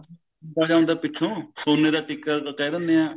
ਲੰਬਾ ਜਾ ਹੁੰਦਾ ਪਿੱਛੋਂ ਸੋਨੇ ਦਾ ਟਿੱਕਾ ਕਹਿ ਦਿੰਦੇ ਆ